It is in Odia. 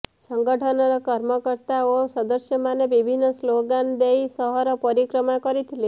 ସଂଗଠନର କର୍ମକର୍ତ୍ତା ଓ ସଦସ୍ୟମାନେ ବିଭିନ୍ନ ସ୍ଲୋଗାନ ଦେଇ ସହର ପରିକ୍ରମା କରିଥିଲେ